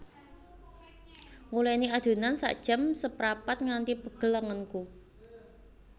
Nguleni adonan sak jam seprapat nganti pegel lengenku